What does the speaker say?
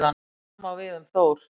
Það sama á við um Þór.